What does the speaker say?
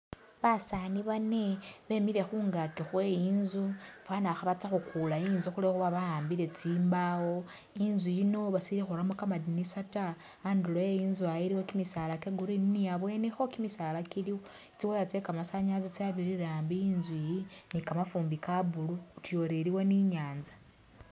Basaani bane bemile khungaaki Khwe inzu fwana khabatsa khukula inzu khulwekhuba ba'ambile tsimbawo, inzu yino basili khuramo kamadinisa ta, andulo e inzu ah iliwo kimisaala kye green ni abwenikho kimisaala kiliwo, tsi wire tsye kamasanyalazi tsyabirire ambi inzu iyi, ni kamafumbi ka blue utuya uri iliwo ni nyanza